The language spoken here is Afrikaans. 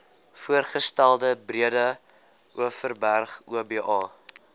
voorgestelde breedeoverberg oba